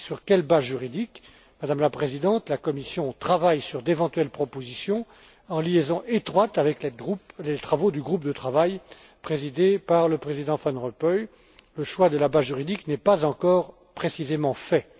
Sur quelle base juridique? Madame la Présidente, la Commission travaille sur d'éventuelles propositions, en liaison étroite avec les travaux du groupe de travail présidé par le président Van Rompuy. Le choix de la base juridique n'est pas encore précisément fait.